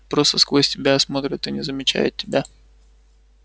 просто сквозь тебя смотрят и не замечают тебя